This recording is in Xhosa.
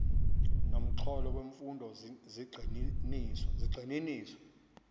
nomxholo wemfundo zigxininiswa